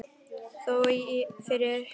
Þó fyrr hefði verið.